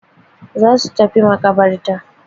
Za su tafi maƙabarta.